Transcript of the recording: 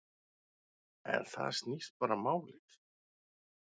Um það snýst bara málið.